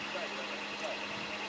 Ay davay, davay.